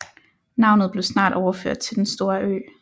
Navnet blev snart overført til den store ø